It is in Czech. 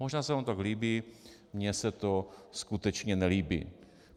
Možná se vám to tak líbí, mně se to skutečně nelíbí.